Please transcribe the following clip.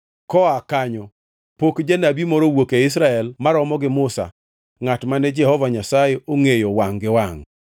Koa kanyo pok janabi moro owuok e Israel maromo gi Musa ngʼat mane Jehova Nyasaye ongʼeyo wangʼ gi wangʼ.